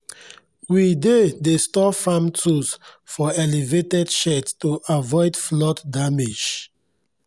we dey dey store farm tools for elevated sheds to avoid flood damage